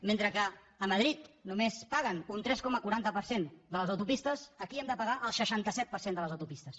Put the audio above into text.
mentre que a madrid només paguen un tres coma quaranta per cent de les autopistes aquí hem de pagar el seixanta set per cent de les autopistes